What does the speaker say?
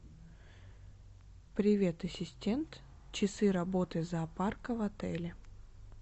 привет ассистент часы работы зоопарка в отеле